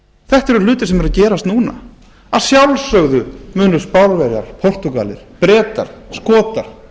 þetta eru hlutir sem eru að gerast núna að sjálfsögðu munu spánverjar portúgalar bretar skotar